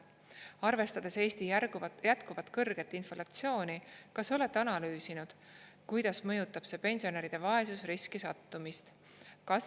Arvestades Eesti jätkuvalt kõrget inflatsiooni, kas te olete analüüsinud, kuidas mõjutab see pensionäride vaesusriski sattumist?